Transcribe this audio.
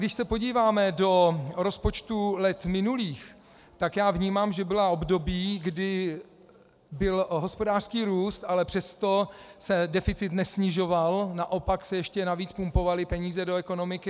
Když se podíváme do rozpočtů let minulých, tak já vnímám, že byla období, kdy byl hospodářský růst, ale přesto se deficit nesnižoval, naopak se ještě navíc pumpovaly peníze do ekonomiky.